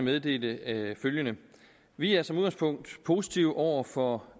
meddele følgende vi er som udgangspunkt positive over for